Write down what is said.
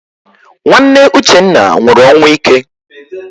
Nwanne Uchenna nwụrụ ọnwụ ike.